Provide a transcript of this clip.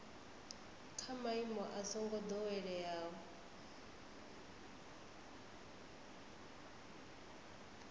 kha maimo a songo doweleaho